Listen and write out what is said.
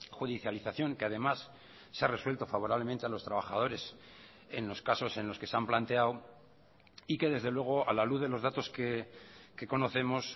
judicialización que además se ha resuelto favorablemente a los trabajadores en los casos en los que se han planteado y que desde luego a la luz de los datos que conocemos